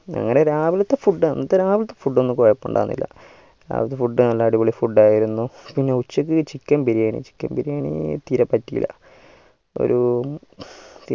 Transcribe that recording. അങ്ങനെ രാവിലത്തെ food ആണ് രാവിലെ food ഒന്നും കൊയ്‌പുണ്ടായിരുന്നില്ല രാവിലത്തെ food അടിപൊളിയിരുന്നു പിന്നെ ഉച്ചക്ക് chicken biriyanichicken biriyani തീരെ പറ്റീല ഒരു